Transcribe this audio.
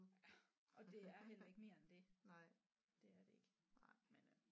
Ja og det er heller ikke mere end det det er det ikke men øh